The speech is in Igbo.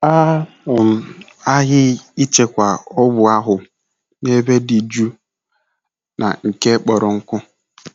A um ghaghị ịchekwa ọgwụ ahụ n'ebe dị jụụ na nke kpọrọ nkụ.